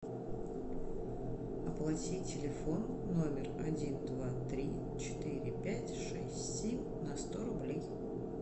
оплати телефон номер один два три четыре пять шесть семь на сто рублей